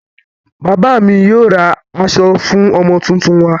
Bàbá mi yóò ra aṣọ fún ọmọ tuntun wa.